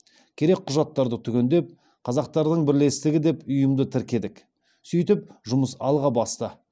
керек құжаттарды түгендеп қазақтардың бірлестігі деп ұйымды тіркедік сөйтіп жұмыс алға басты